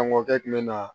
An kɔkɛ tun bɛ na